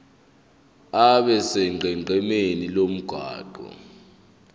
abe sonqenqemeni lomgwaqo